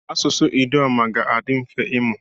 Asụsụ Idoma ga-adị mfe ịmụ.